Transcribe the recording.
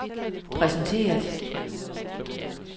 præsenteret